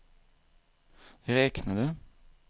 räknade